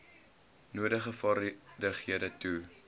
nodige vaardighede toe